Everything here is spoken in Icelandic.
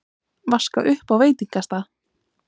Vaska upp á veitingastað?